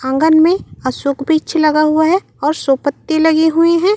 आँगन में अशोक वृक्ष लगा हुआ है और सोपत्ते लगे हुए है।